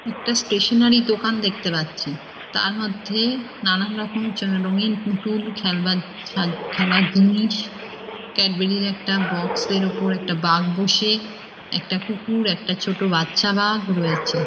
একটি ষ্টেশনারী দোকান দেখতে পাচ্ছি। তার মধ্যে নানারকম রঙিন পুতুল খেলবার খেলার জিনিস ক্যাডবুরি -এর একটা বাক্স -এর ওপর একটা বাঘ বসে একটা কুকুর একটা ছোট বাচ্চা বাঘ রয়েছে।